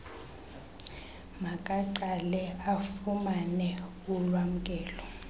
makaqale afumane ulwamkelo